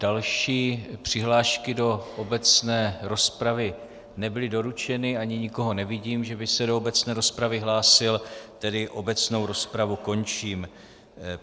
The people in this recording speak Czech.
Další přihlášky do obecné rozpravy nebyly doručeny ani nikoho nevidím, že by se do obecné rozpravy hlásil, tedy obecnou rozpravu končím.